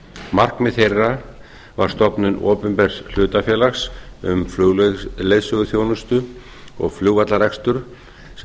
markmið þeirra var stofnun opinbers hlutafélags um flugleiðsöguþjónustu og flugvallarrekstur sem